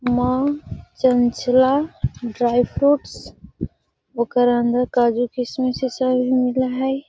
माँ चंचला डॉयफ्रुट्स ओकर अंदर काजू किसमिस इ सब भी मिल हई |